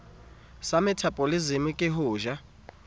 sa methabolisemo ke ho ja